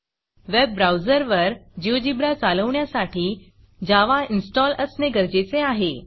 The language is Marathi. वेब browserवेब ब्राऊजर वर Geogebraजियोजीब्रा चालवण्यासाठी javaजावा इन्स्टॉल असणे गरजेचे आहे